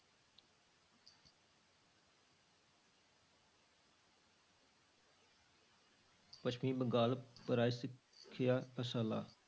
ਪੱਛਮੀ ਬੰਗਾਲ ਪਰਾਈ ਸਿੱਖਿਆ ਸ਼ਾਲਾ